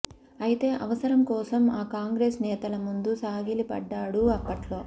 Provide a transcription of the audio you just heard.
అయితే అవసరం కోసం ఆ కాంగ్రెస్ నేతల ముందు సాగిలపడ్డాడు అప్పట్లో